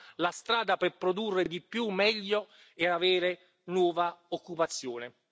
Insomma, la strada per produrre di più, meglio e avere nuova occupazione.